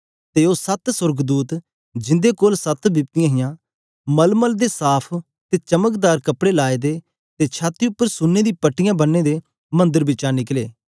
ते ओ सत्त सोर्गदूत जिंदे कोल सत्त बिपतियाँ हियां मलमल दे साफ़ ते चमकदार कपड़े लाए दे ते छाती उपर सुने दी पट्टियां बन्ने दे मंदर बिचा निकले